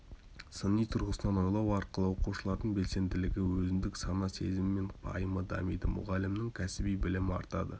сыни тұрғысынан ойлау арқылы оқушылардың белсенділігі өзіндік сана сезімі мен пайымы дамиды мұғалімнің кәсіби білімі артады